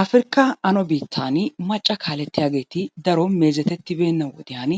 Afirkaa ano biittani macca kaalettiyaageeti daro meezetettibeenna wodiyan